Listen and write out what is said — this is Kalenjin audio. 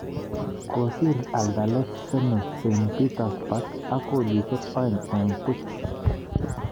Kosir Anderlecht Zenit St. Petersburg ak kolisyek aeng eng puch